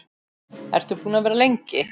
Ertu búin að vera lengi?